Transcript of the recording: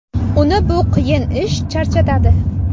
Uni bu qiyin ish charchatadi.